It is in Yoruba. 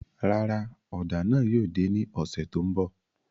Rárá, ọ́da náà yóò de ni ọsẹ to nbọ